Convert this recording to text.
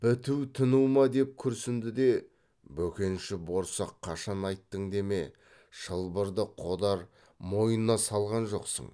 біту тыну ма деп күрсінді де бөкенші борсақ қашан айттың деме шылбырды қодар мойнына салған жоқсың